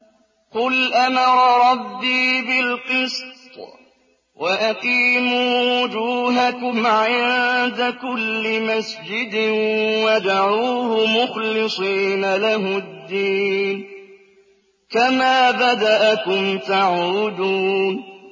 قُلْ أَمَرَ رَبِّي بِالْقِسْطِ ۖ وَأَقِيمُوا وُجُوهَكُمْ عِندَ كُلِّ مَسْجِدٍ وَادْعُوهُ مُخْلِصِينَ لَهُ الدِّينَ ۚ كَمَا بَدَأَكُمْ تَعُودُونَ